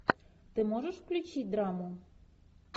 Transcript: ты можешь включить драму